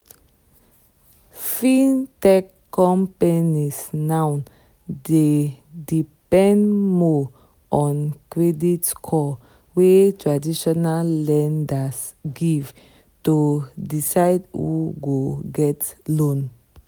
fintech companies now dey depend more on credit score wey traditional lenders give to decide who go get loan.